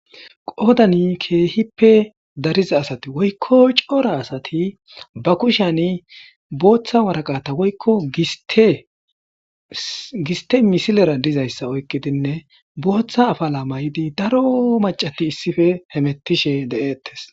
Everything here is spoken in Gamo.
Qoodani keehippe dariza asazi woykko cora asathi ba kushaanibooththa woraqatha woykko gisththe misileera dizayssa oykkidinne booththa afalaa maayidi daroo maccathi issipe hemeththishee de7eeththees.